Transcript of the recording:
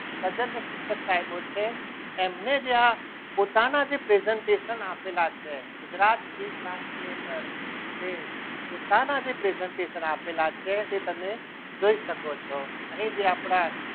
તજજ્ઞ કરી શકાય તેવો છે એમને જે આ પોતાના presentation આપેલા છે ગુજરાત એક class ની અંદર જે પોતાના જે presentation આપેલા છે તે તમે જોઈ શકો છો અહીં જે આપણા